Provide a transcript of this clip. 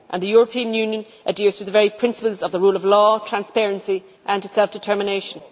And the European Union adheres to the very principles of the rule of law, transparency and self determination.